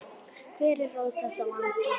Hver er rót þessa vanda?